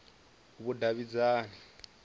vhudavhidzani